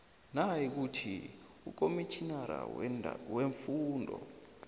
nayikuthi ukomitjhinara weemfungo